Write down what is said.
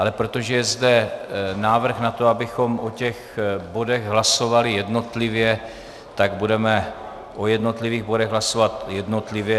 Ale protože je zde návrh na to, abychom o těch bodech hlasovali jednotlivě, tak budeme o jednotlivých bodech hlasovat jednotlivě.